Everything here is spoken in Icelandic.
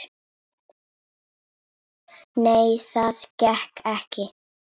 Nei, það gekk ekki.